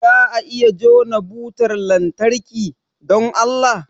Za a iya jona butar lantarki, don Allah?